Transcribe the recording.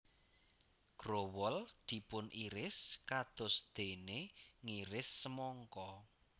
Growol dipuniris kados dene ngiris semangka